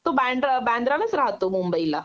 तो बांद्रा बांद्रालाच राहतो मुंबई ला